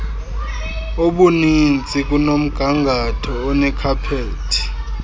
obuninzi kunomgangatho onekhaphethi